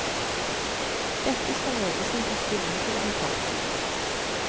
Dette skal ledelsen ta stilling til om kort tid.